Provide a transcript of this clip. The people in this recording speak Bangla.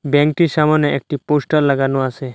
ব্যাঙ্কটির সামোনে একটি পোস্টার লাগানো আসে ।